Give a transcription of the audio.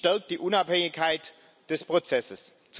Dies stärkt die Unabhängigkeit des Prozesses.